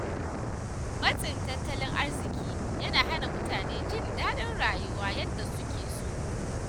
Matsin tattalin arziƙi yana hana mutane jin daɗin rayuwa yadda suke so.